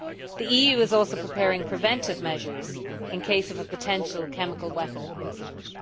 The EU is also preparing preventive measures in case of a potential chemical weapon incident.